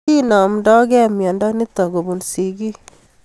Kinamdoig'ei miondo nitok kopun sigik